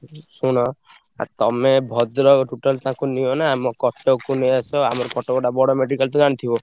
ଶୁଣ ଆଉ ତମେ ଭଦ୍ରକ total ତାଙ୍କୁ ନିଅନା। ଆମ କଟକକୁ ନେଇ ଆସ ଆମର କଟକଟା ବଡ medical ତ ଜାଣିଥିବ।